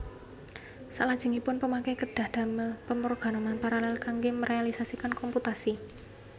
Saklajengipun pemakai kedhah ndamel pemrograman paralel kangge merealisasikan komputasi